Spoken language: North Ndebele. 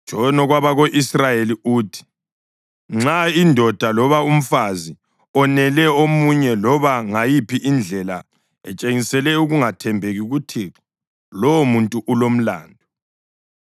“Tshono kwabako-Israyeli uthi: ‘Nxa indoda loba umfazi onele omunye loba ngayiphi indlela etshengisele ukungathembeki kuThixo, lowomuntu ulomlandu